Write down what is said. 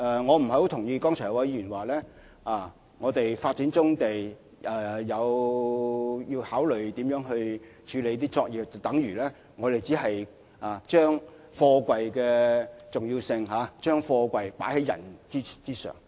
我不太同意剛才有議員的說法，指我們發展棕地時要考慮如何處理那些作業，便等如我們將貨櫃的重要性放在人之上。